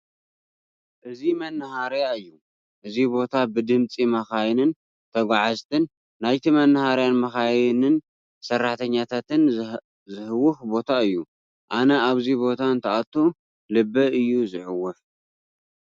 እዚ መነሃርያ እዩ፡፡ እዚ ቦታ ብድምፂ መኻይን፣ ተጓዝቲ፣ ናይቲ መናሃርያን መኻይን ሰራሕተኛታትን ዝህወኽ ቦታ እዩ፡፡ ኣነ ኣብዚ ቦታ እንትኣቱ ልበይ እዩ ዝዕወፍ፡፡